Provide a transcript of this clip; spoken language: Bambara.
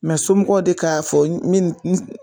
Mɛ somɔgɔw de k'a fɔ